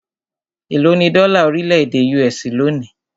Élo ní dọ́là orílẹ̀-èdè US lónìí?